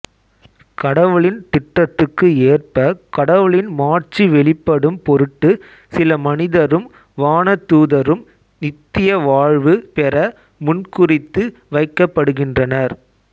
கடவுளின் திட்டத்துக்கு ஏற்ப கடவுளின் மாட்சி வெளிப்படும் பொருட்டு சில மனிதரும் வானதூதரும் நித்திய வாழ்வு பெற முன்குறித்து வைக்கப்படுகின்றனர்